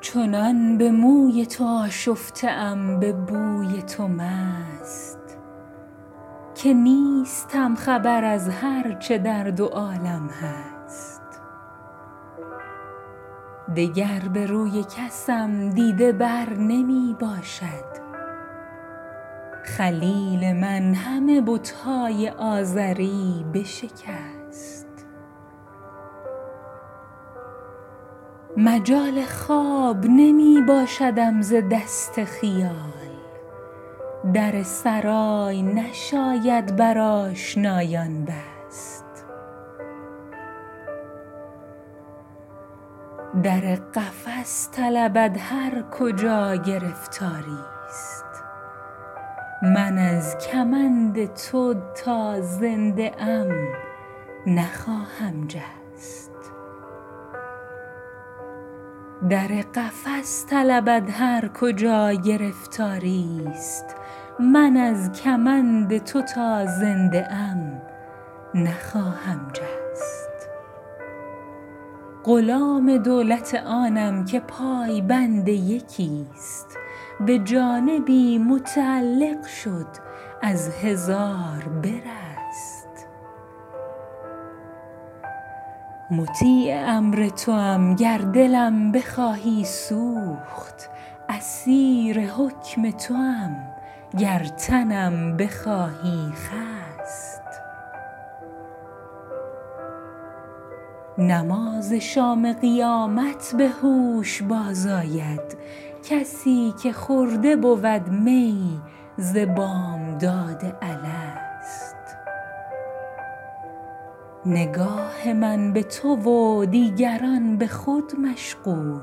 چنان به موی تو آشفته ام به بوی تو مست که نیستم خبر از هر چه در دو عالم هست دگر به روی کسم دیده بر نمی باشد خلیل من همه بت های آزری بشکست مجال خواب نمی باشدم ز دست خیال در سرای نشاید بر آشنایان بست در قفس طلبد هر کجا گرفتاری ست من از کمند تو تا زنده ام نخواهم جست غلام دولت آنم که پای بند یکی ست به جانبی متعلق شد از هزار برست مطیع امر توام گر دلم بخواهی سوخت اسیر حکم توام گر تنم بخواهی خست نماز شام قیامت به هوش باز آید کسی که خورده بود می ز بامداد الست نگاه من به تو و دیگران به خود مشغول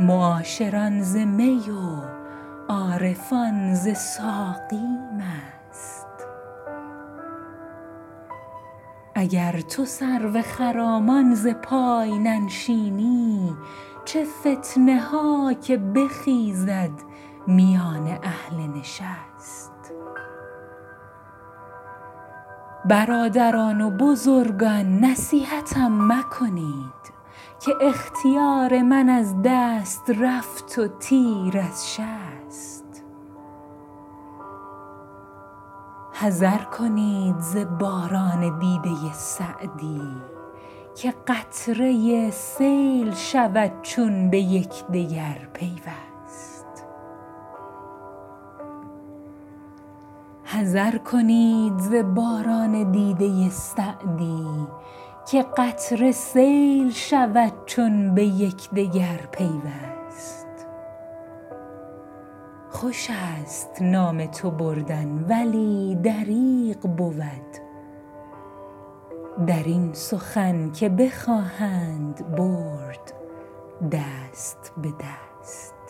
معاشران ز می و عارفان ز ساقی مست اگر تو سرو خرامان ز پای ننشینی چه فتنه ها که بخیزد میان اهل نشست برادران و بزرگان نصیحتم مکنید که اختیار من از دست رفت و تیر از شست حذر کنید ز باران دیده سعدی که قطره سیل شود چون به یکدگر پیوست خوش است نام تو بردن ولی دریغ بود در این سخن که بخواهند برد دست به دست